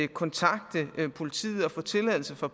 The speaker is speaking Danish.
kontakte politiet og få tilladelse fra